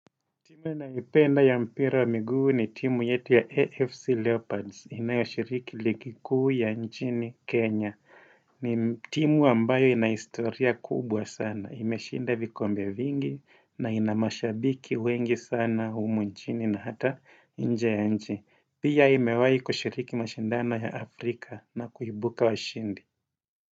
Timu ninayoipenda ya mpira wa miigu ni timu yetu ya AFC Leopards inayoshiriki ligi kuu ya nchini Kenya. Ni timu ambayo ina historia kubwa sana. Imeshinda vikombe vingi na ina mashabiki wengi sana humu nchini na hata nje ya nchi. Pia imewai kushiriki mashindano ya Afrika na kuibuka washindi.